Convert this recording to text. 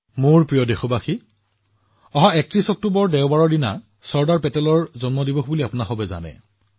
মোৰ মৰমৰ দেশবাসীসকল আপোনালোকে জানে যে অহা দেওবাৰে ৩১ অক্টোবৰ তাৰিখে চৰ্দাৰ পেটেলজীৰ জন্ম জয়ন্তী